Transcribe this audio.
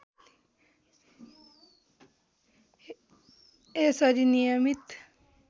यसरी नियमित